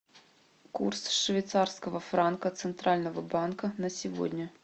курс швейцарского франка центрального банка на сегодня